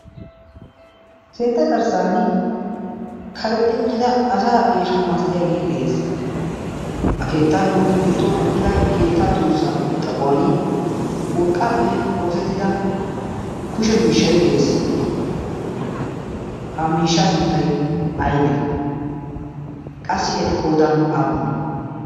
keetta garssan karexxi uttida asa eesho maasttiyaagii de'ees. ha keettaayyo gidduwan eqqida keettaa tuussaa xaphuwan urqqaappe oosettida kushe miishshai de'ees. ha miishshaa sunttay aybe qassi eti qoodan aappunee?